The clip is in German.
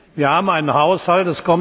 Wir haben einen Haushalt.